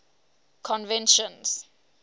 conventions